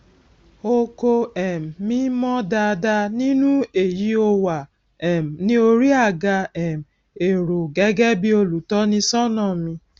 oko um mi ìmọ dáadáa nínú èyí ó wà um ní orí àga um èrò gẹgẹ bí olùtọnisọnà mi